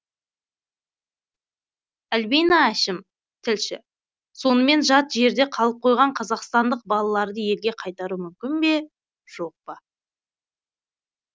альбина әшім тілші сонымен жат жерде қалып қойған қазақстандық балаларды елге қайтару мүмкін бе жоқ па